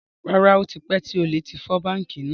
Rárá, ó tipẹ́ tí olè tí fọ́ báńkì náà.